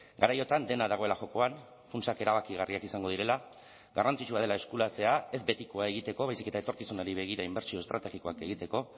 garaiotan dena dagoela jokoan funtsak erabakigarriak izango direla garrantzitsua dela eskuratzea ez betikoa egiteko baizik eta etorkizunari begira inbertsio estrategikoak egiteko